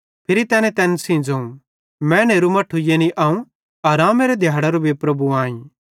फिरी तैने तैन सेइं ज़ोवं मैनेरू मट्ठू यानी अवं आरामेरे दिहाड़ेरो भी प्रभु आईं